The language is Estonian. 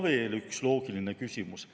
Veel üks loogiline küsimus.